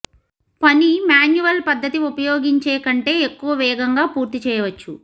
పని మాన్యువల్ పద్ధతి ఉపయోగించి కంటే ఎక్కువ వేగంగా పూర్తి చేయవచ్చు